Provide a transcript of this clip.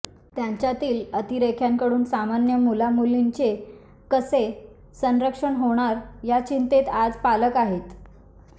त्यांच्यातील अतिरेक्यांकडून सामान्य मुलामुलींचे कसे संरक्षण होणार या चिंतेत आज पालक आहेत